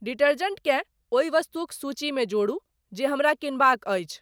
डिटर्जेंटकेँ ओहि वस्तुक सूचीमे जोडू जे हमरा किनबाक अछि